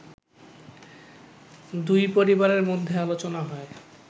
দুই পরিবারের মধ্যে আলোচনা হয়